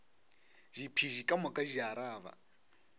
diphedi ka moka di araba